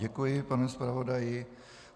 Děkuji panu zpravodaji.